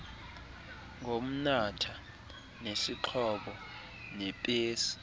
ngomnatha nesixhobo sephesi